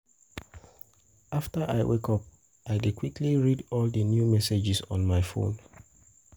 After I wake up, I dey quickly read all the new messages on my phone.